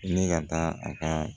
Ne ka taa a ka